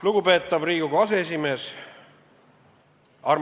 Lugupeetav Riigikogu aseesimees!